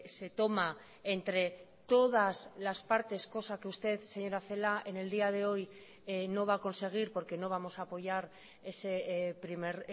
se toma entre todas las partes cosa que usted señora celáa en el día de hoy no va a conseguir porque no vamos a apoyar ese primer